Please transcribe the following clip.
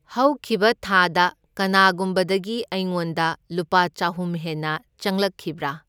ꯍꯧꯈꯤꯕ ꯊꯥꯗ ꯀꯅꯥꯒꯨꯝꯕꯗꯒꯤ ꯑꯩꯉꯣꯟꯗ ꯂꯨꯄꯥ ꯆꯍꯨꯝ ꯍꯦꯟꯅ ꯆꯪꯂꯛꯈꯤꯕ꯭ꯔꯥ?